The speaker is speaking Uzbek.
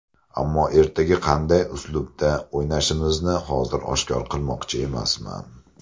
Ammo ertaga qanday uslubda o‘ynashimizni hozir oshkor qilmoqchi emasman.